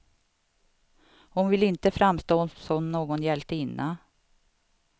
Hon vill inte framstå som någon hjältinna.